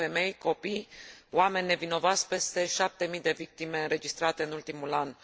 Mor femei, copii, oameni nevinovați, peste șapte mii de victime înregistrate în ultimul an...